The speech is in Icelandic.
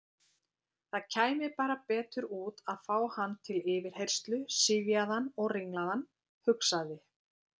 Það kæmi bara betur út að fá hann til yfirheyrslu syfjaðan og ringlaðan, hugsaði